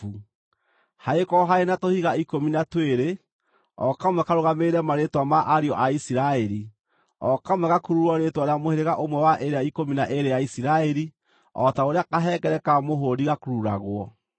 Hagĩkorwo harĩ na tũhiga ikũmi na twĩrĩ, o kamwe karũgamĩrĩre marĩĩtwa ma ariũ a Isiraeli, o kamwe gakururwo rĩĩtwa rĩa mũhĩrĩga ũmwe wa ĩrĩa ikũmi na ĩĩrĩ ya Isiraeli, o ta ũrĩa kahengere ka mũhũũri gakururagwo.